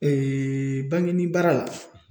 bankeni baara la